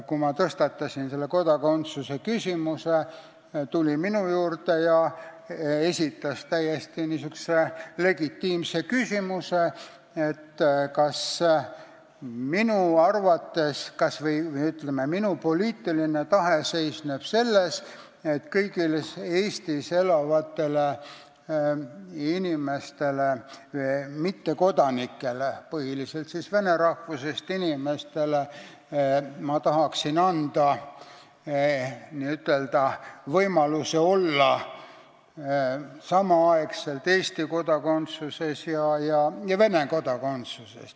Kui ma tõstatasin seal kodakondsuse küsimuse, tuli minister Reinsalu minu juurde ja esitas täiesti legitiimse küsimuse, kas minu poliitiline tahe seisneb selles, et ma tahaksin anda kõigile Eestis elavatele mittekodanikele – põhiliselt siis vene rahvusest inimestele – võimaluse olla samal ajal Eesti kodakondsuses ja Vene kodakondsuses.